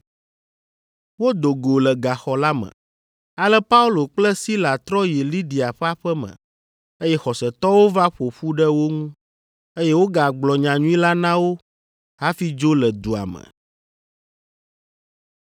Wodo go le gaxɔ la me. Ale Paulo kple Sila trɔ yi Lidia ƒe aƒe me, eye xɔsetɔwo va ƒo ƒu ɖe wo ŋu, eye wogagblɔ nyanyui la na wo hafi dzo le dua me.